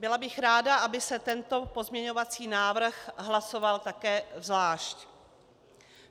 Byla bych ráda, aby se tento pozměňovací návrh hlasoval také zvlášť.